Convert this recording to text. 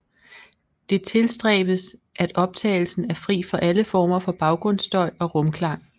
Det tilstræbes at optagelsen er fri for alle former for bagrundsstøj og rumklang